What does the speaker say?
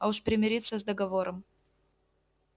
а уж примириться с договором